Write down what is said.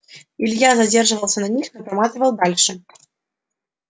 илья задерживался на них но проматывал дальше